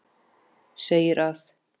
segir að